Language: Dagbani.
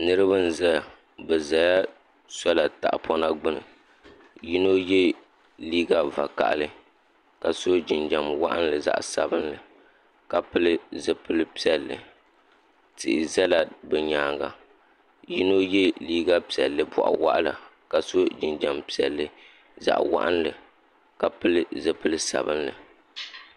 Niriba n zaya bi zala sɔla tahapɔna gbuni yino yɛ liiga vakahili ka so jinjam waɣinli zaɣa sabinli ka pili zipili piɛlli tihi zala bi nyaanga yino yɛ liiga piɛlli bɔɣa waɣila ka so jinjam piɛlli zaɣa waɣinli ka pili zipili sabinli.